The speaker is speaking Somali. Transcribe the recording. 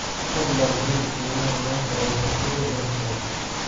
fadlan hel qiimaha maanta ee shirkadda brookside